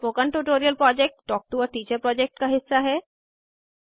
spoken tutorial project talk to a teacher project का हिस्सा है